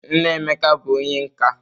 Nna Emeka bụ onye nka.